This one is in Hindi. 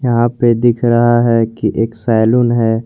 यहां पे दिख रहा है कि एक सैलून है।